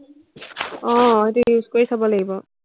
আহ সেইটো use কৰি চাব লাগিব।